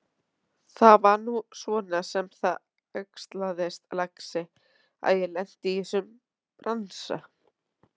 Það var nú svona sem það æxlaðist, lagsi, að ég lenti í þessum bransa.